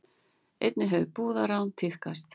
Einnig hefur brúðarrán tíðkast